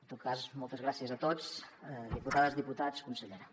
en tot cas moltes gràcies a tots diputades diputats consellera